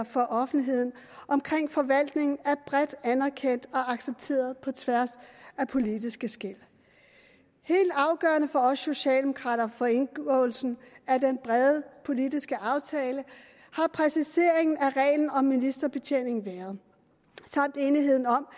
for offentligheden omkring forvaltningen er bredt anerkendt og accepteret på tværs af politiske skel helt afgørende for os socialdemokrater for indgåelsen af den brede politiske aftale har præciseringen af reglen om ministerbetjening været samt enigheden om